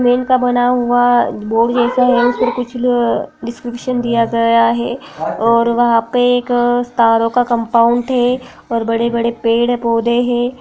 का बना हुआ अ बोर्ड जैसा है। इसपे कुछ ल डिस्क्रिप्शन दिया गया है और वहां पर एक तारों का कंपाउंड है और बड़े- बड़े पेड़ हैं पौधे हैं।